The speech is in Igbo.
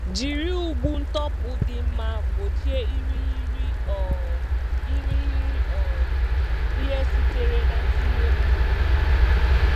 Jiri ụgbụ ntupu dị mma gbochie irighiri um irighiri um ihe sitere na ntinye mmiri.